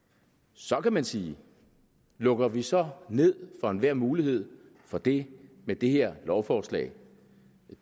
så kan man sige lukker vi så ned for enhver mulighed for det med det her lovforslag